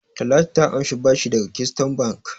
Talatu ta amshi bashi daga Keystone Bank.